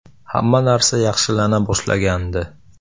Hamma narsa yaxshilana boshlagandi.